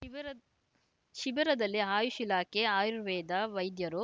ಶಿಬಿರ ಶಿಬಿರದಲ್ಲಿ ಆಯುಷ್‌ ಇಲಾಖೆ ಆಯುರ್ವೇದ ವೈದ್ಯರು